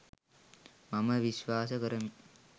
මම විශ්වාස කරමි.